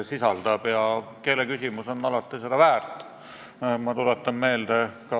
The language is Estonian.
Minu meelest on tõepoolest üsna hale, kui esimeseks sammuks saab see, et vitsakimp – 640 eurot – asendub pillirookepiga ehk 6400 euroga.